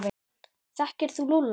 Þekkir þú Lúlla?